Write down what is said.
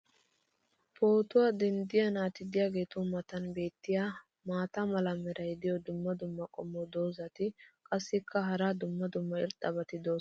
pootuwaa denddiya naati diyaageetu matan beetiya maata mala meray diyo dumma dumma qommo dozzati qassikka hara dumma dumma irxxabati doosona.